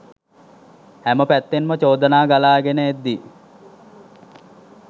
හැම පැත්තෙන්ම චෝදනා ගලා ගෙන එද්දී